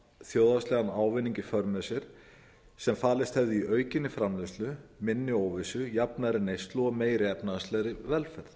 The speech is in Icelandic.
þjóðhagslegan ávinning í för með sér sem falist hefði í aukinni framleiðslu minni óvissu jafnari neyslu og meiri efnahagslegri velferð